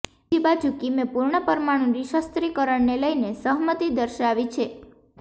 બીજી બાજુ કિમે પૂર્ણ પરમાણુ નિશસ્ત્રીકરણને લઇને સહમતિ દર્શાવી છે